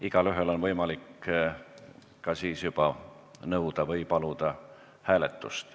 Igaühel on võimalik ka nõuda või paluda hääletust.